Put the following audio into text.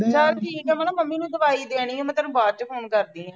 ਚੱਲ ਠੀਕ ਹੈ, ਮੈਂ ਨਾ ਮੰਮੀ ਨੂੰ ਦਵਾਈ ਦੇਣੀ ਆ, ਮੈਂ ਤੈਨੂੰ ਬਾਅਦ ਚ ਫੋਨ ਕਰਦੀ ਹਾਂ।